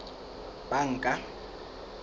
banka